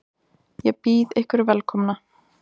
Ég býð ykkur velkomna.